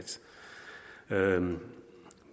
gøre